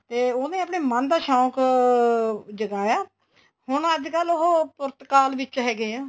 ਤੇ ਉਹਨੇ ਆਪਣਾ ਮਨ ਦਾ ਸ਼ੋਂਕ ਜਗਾਇਆ ਹੁਣ ਅੱਜਕਲ ਉਹ ਪੁਰਤਗਾਲ ਵਿੱਚ ਹੈਗੇ ਏ